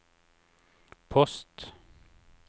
post